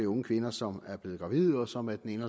unge kvinder som er blevet gravide og som af den